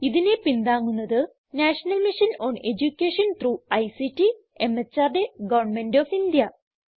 ഇതിനെ പിന്താങ്ങുന്നത് national mission on education through ICT മെഹർദ് ഗവന്മെന്റ് ഓഫ് ഇന്ത്യ